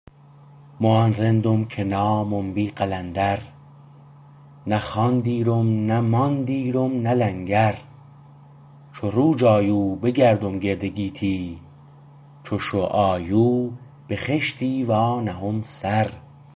مو آن رندم که نامم بی قلندر نه خان دیرم نه مان دیرم نه لنگر چو روج آیو بگردم گرد گیتی چو شو آیو به خشتی وانهم سر